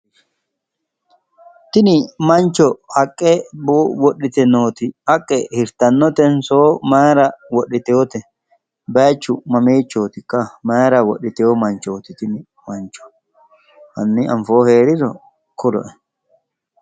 Tini mancho haqqe wodhite nooti haqqe hirtannotenso maayiira wodhitewoote? baayiichu mamiichootikka? maayiira wodhitewo manchooti tini mancho? hanni anfohu heeriro kuloe.